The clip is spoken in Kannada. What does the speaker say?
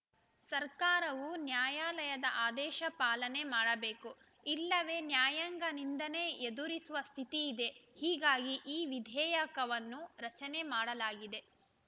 ಸರ್ಕಾರವು ನ್ಯಾಯಾಲಯದ ಆದೇಶ ಪಾಲನೆ ಮಾಡಬೇಕು ಇಲ್ಲವೇ ನ್ಯಾಯಾಂಗ ನಿಂದನೆ ಎದುರಿಸುವ ಸ್ಥಿತಿ ಇದೆ ಹೀಗಾಗಿ ಈ ವಿಧೇಯಕವನ್ನು ರಚನೆ ಮಾಡಲಾಗಿದೆ